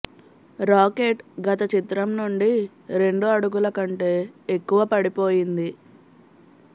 rocket గత చిత్రం నుండి రెండు అడుగుల కంటే ఎక్కువ పడిపోయింది